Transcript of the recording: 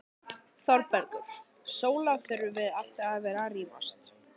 ÞÓRBERGUR: Sóla, þurfum við alltaf að vera að rífast?